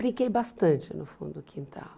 Brinquei bastante no fundo do quintal.